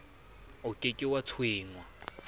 o ke ke wa tshwengwa